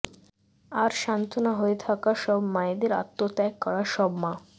আর সান্তনা হয়ে থাকা সব মায়েদের আত্মত্যাগ করা সব মা